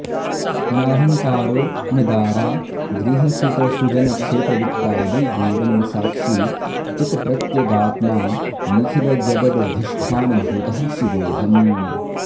नाहंकारो न दारा गृहसुतसुजनक्षेत्रवित्तादि दूरं साक्षी चित्प्रत्यगात्मा निखिलजगदधिष्ठानभूतः शिवोऽहम्